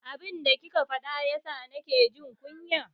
Abin da kike faɗa yasa na ke jin kunya.